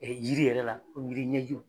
yiri yɛrɛ la komi jiri ɲɛ